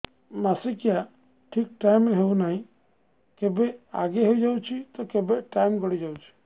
ମାସିକିଆ ଠିକ ଟାଇମ ରେ ହେଉନାହଁ କେବେ ଆଗେ ହେଇଯାଉଛି ତ କେବେ ଟାଇମ ଗଡି ଯାଉଛି